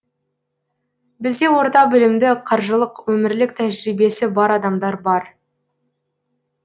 бізде орта білімді қаржылық өмірлік тәжірибесі бар адамдар бар